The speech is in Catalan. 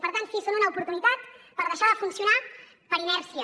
per tant sí són una oportunitat per deixar de funcionar per inèrcia